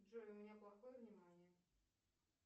джой у меня плохое внимание